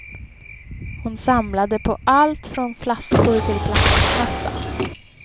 Hon samlade på allt från flaskor till plastkassar.